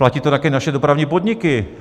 Platí to také naše dopravní podniky.